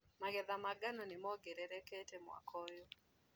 Magetha ma ngano nĩmongererekete mwaka ũyũ.